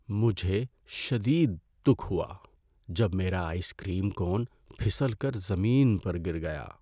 مجھے شدید دکھ ہوا جب میرا آئس کریم کون پھسل کر زمین پر گر گیا۔